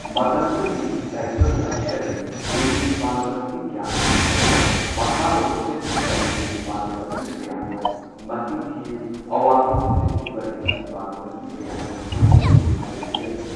ꯃꯇꯝꯗꯨꯗꯗꯤ ꯁꯥꯏꯀꯜ ꯌꯥꯝ ꯆꯠꯂꯤ ꯏꯟꯖꯤꯟ ꯄꯥꯟꯕ ꯃꯁꯤꯡ ꯌꯥꯝꯗꯦ ꯑꯗꯨꯒ ꯃꯈꯥꯔꯣꯝꯗ ꯆꯠꯈꯤꯕ ꯏꯟꯖꯤꯟ ꯄꯥꯟꯕ ꯃꯁꯤꯡ ꯀꯌꯥꯅꯣ ꯃꯁꯤꯡ ꯊꯤꯌꯨ ꯑꯋꯥꯡꯂꯣꯝꯗ ꯆꯠꯈꯤꯕ ꯏꯟꯖꯤꯟ ꯄꯥꯟꯕ ꯃꯁꯤꯡ ꯀꯌꯥꯅꯣ ꯃꯁꯤꯡ ꯊꯤꯌꯨ ꯍꯥꯏꯔꯒ ꯊꯤꯔꯝꯗꯦ꯫